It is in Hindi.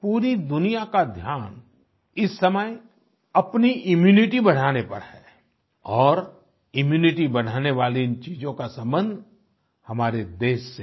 पूरी दुनिया का ध्यान इस समय अपनी इम्यूनिटी बढ़ाने पर है और इम्यूनिटी बढ़ाने वाली इन चीजों का संबंध हमारे देश से है